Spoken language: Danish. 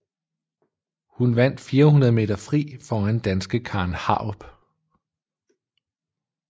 Hun vandt 400 meter fri foran danske Karen Harup